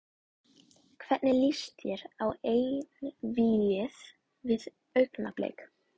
Hvernig lýst þér á einvígið við Augnablik?